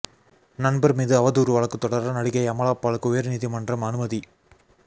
நண்பர் மீது அவதூறு வழக்கு தொடர நடிகை அமலா பாலுக்கு உயர் நீதிமன்றம் அனுமதி